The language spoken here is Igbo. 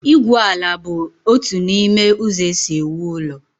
igwu ala bụ otu n'ime ụzọ e si ewu ụlọ